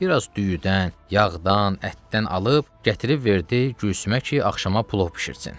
Bir az düyüdən, yağdan, ətdən alıb gətirib verdi Gülsümə ki, axşama plov bişirsin.